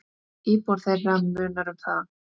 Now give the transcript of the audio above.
Íbúa þeirra munar um það.